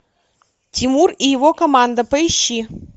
тимур и его команда поищи